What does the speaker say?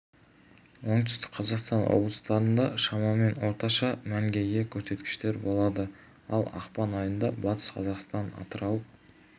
оңтүстік қазақстан облыстарында шамамен орташа мәнге ие көрсеткіштер болады ал ақпан айында батыс қазақстан атырау